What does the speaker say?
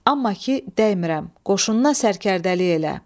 Amma ki dəymirəm, qoşununa sərkərdəlik elə.